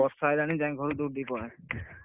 ବର୍ଷା ଆଇଲାଣି ମୁଁ ଯାଏ ଘରକୁ ଦୌଡିକି ପଳାଏ।